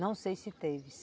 Não sei se teve.